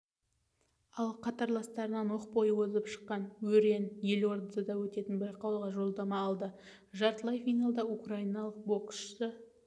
ал қатарластарынан оқ бойы озық шыққан өрен елордада өтетін байқауға жолдама алды жартылай финалда украиналық боксшы